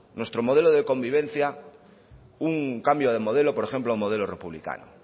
nuestro modelo de convivencia un cambio de modelo por ejemplo un modelo republicano